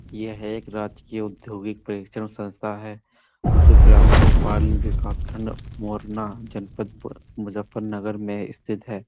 यहाँ एक राजकीय उद्धयोगिक प्रेक्षण संस्था है जो ग्राम भोपाल-न् के कासखंड मोरना जनपद ब्-मुजफ्फरनगर में स्थित है।